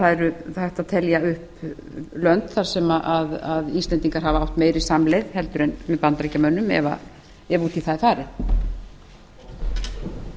það er hægt að telja upp lönd sem íslendingar hafa átt meiri samleið með heldur en með bandaríkjamönnum ef út í það er farið